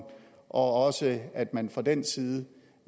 og at man fra den side